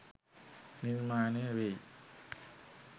නිර්මාණය වෙයි.